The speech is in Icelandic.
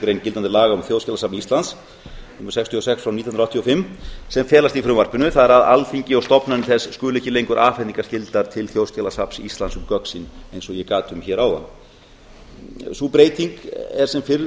grein gildandi laga um þjóðskjalasafn íslands númer sextíu og sex nítján hundruð áttatíu og fimm sem felast í frumvarpinu það er að alþingi og stofnanir þess skuli ekki lengur afhendingarskyldar til þjóðskjalasafns íslands um gögn sín eins og ég get um hér áðan sú breyting er sem fyrr